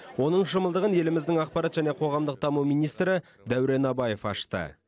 оның шымылдығын еліміздің ақпарат және қоғамдық даму министрі дәурен абаев ашты